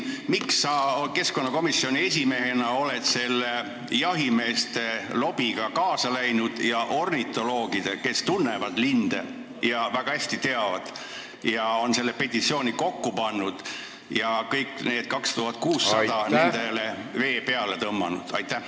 Miks sa keskkonnakomisjoni esimehena oled selle jahimeeste lobiga kaasa läinud ja ornitoloogidele, kes väga hästi tunnevad linde ja on selle petitsiooni kokku pannud, kõigile neile 2600-le, vee peale tõmmanud?